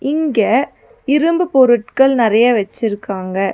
இங்க இரும்பு பொருட்கள் நெறைய வச்சிருக்காங்க.